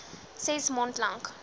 ses maand lank